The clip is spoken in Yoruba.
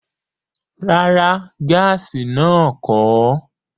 Rárá, gaasi náà kọ̀ ọ́